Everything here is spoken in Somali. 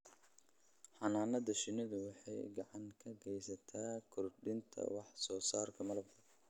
Xannaanada shinnidu waxay gacan ka geysataa kordhinta wax soo saarka malabka.